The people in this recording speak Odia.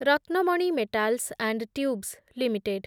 Ratnamani metals and tubes limited